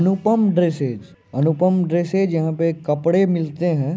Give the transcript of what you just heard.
अनुपम dresses Anupam dresses यहां पर कपड़े मिलते हैं।